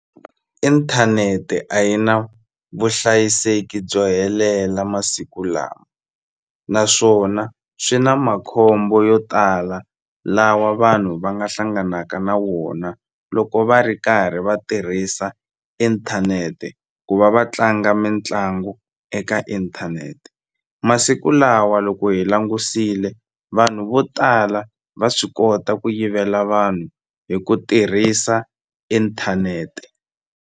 Inthanete a yi na vuhlayiseki byo helela masiku lawa naswona swi na makhombo yo tala lawa vanhu va nga hlanganaka na wona loko va ri karhi va tirhisa inthanete ku va va tlanga mitlangu eka inthanete masiku lawa loko hi langusile vanhu vo tala va swi kota ku yivela vanhu hi ku tirhisa inthanete.